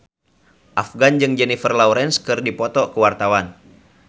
Afgan jeung Jennifer Lawrence keur dipoto ku wartawan